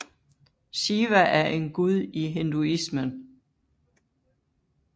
Shiva er en gud i hinduismen